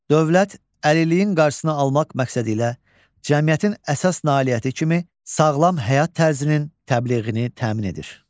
Dövlət əlilliyin qarşısını almaq məqsədilə cəmiyyətin əsas nailiyyəti kimi sağlam həyat tərzinin təbliğini təmin edir.